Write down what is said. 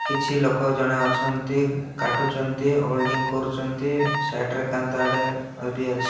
କିଛି ଲୋକ ଜଣେ ଅଛନ୍ତି କାଟୁଚନ୍ତି ୱେଲଡିଂ କରୁଚନ୍ତି ସାଇଡ ରେ କାନ୍ଥଆଡେ ବି ଅଛି।